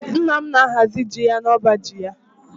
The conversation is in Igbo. Nna m na-ahazi ji ya n'ọba ji ya